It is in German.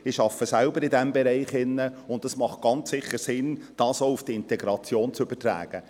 Ich arbeite selbst in diesem Bereich, und es macht ganz sicher Sinn, dies auf die Integration zu übertragen.